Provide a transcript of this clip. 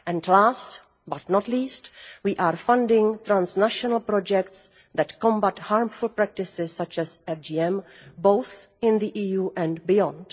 Last, but not least, we are funding transnational projects that combat harmful practices such as FGM, both in the EU and beyond.